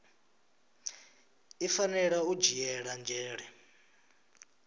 i fanela u dzhiela nzhele